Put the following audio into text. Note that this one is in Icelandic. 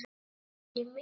Hæ, Valli minn.